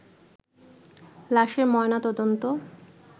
লাশের ময়না তদন্ত